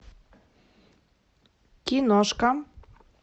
киношка